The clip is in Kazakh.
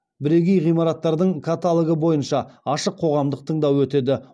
бірегей ғимараттардың каталогы бойынша ашық қоғамдық тыңдау өтеді